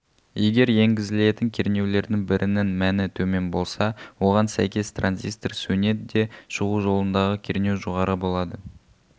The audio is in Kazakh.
егер енгізілетін кернеулердің бірінің мәні төмен болса оған сәйкес транзистор сөнеді де шығу жолындағы кернеу жоғары болады